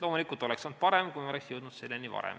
Loomulikult oleks olnud parem, kui me oleksime jõudnud selleni varem.